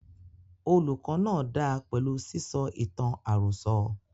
Olùkó náà dáa pẹlú sísọ ìtàn àròsọ.